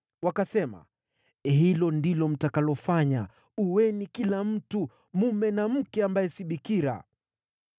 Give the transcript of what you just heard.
Wakasema, “Hilo ndilo mtakalofanya. Ueni kila mtu mume na mke ambaye si bikira.”